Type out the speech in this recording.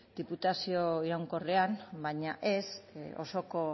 diputazio iraunkorrean baina ez osoko